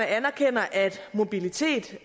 anerkender at mobilitet